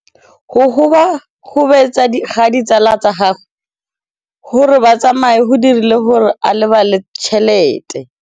Go gobagobetsa ga ditsala tsa gagwe, gore ba tsamaye go dirile gore a lebale tšhelete.